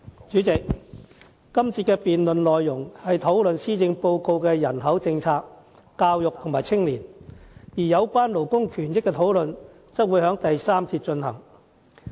主席，這個辯論環節的內容，針對施政報告的人口、教育及青年政策，而有關勞工權益的討論則會在第三個辯論環節進行。